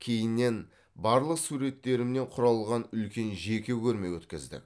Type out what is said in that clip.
кейіннен барлық суреттерімнен құралған үлкен жеке көрме өткіздік